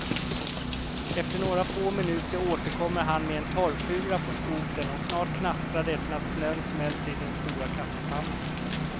Efter några få minuter återkommer han med en torrfura på skotern och snart knastrar det, när snön smälter i den stora kaffepannan.